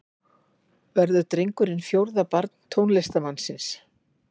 Verður drengurinn fjórða barn tónlistarmannsins